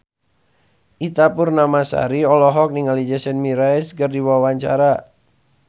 Ita Purnamasari olohok ningali Jason Mraz keur diwawancara